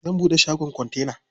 Zan buɗe shagon kontena.